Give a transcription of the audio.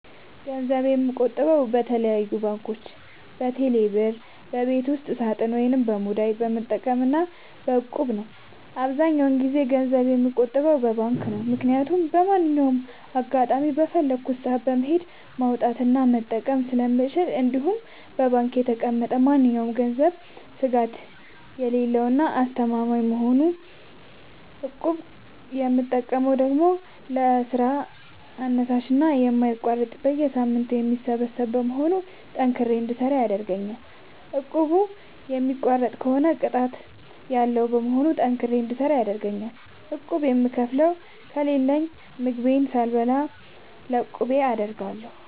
ገንዘብ የምቆጥበው በተለያዩ ባንኮች÷በቴሌ ብር ÷በቤት ውስጥ ሳጥን ወይም ሙዳይ በመጠቀም እና በ እቁብ ነው። አብዛኛውን ጊዜ ገንዘብ የምቆጥበው በባንክ ነው። ምክያቱም በማንኛውም አጋጣሚ በፈለኩት ሰአት በመሄድ ማውጣት እና መጠቀም ስለምችል እንዲሁም በባንክ የተቀመጠ ማንኛውም ገንዘብ ስጋት የሌለው እና አስተማማኝ በመሆኑ ነው። እቁብ የምጠቀመው ደግሞ ለስራ አነሳሽና የማይቋረጥ በየሳምንቱ የሚሰበሰብ በመሆኑ ጠንክሬ እንድሰራ ያደርገኛል። እቁቡን የሚቋርጥ ከሆነ ቅጣት ያለዉ በመሆኑ ጠንክሬ እንድሰራ ይረደኛል። ቁብ የምከፍለው ከሌለኝ ምግቤን ሳልበላ ለቁቤ አደርጋለሁ።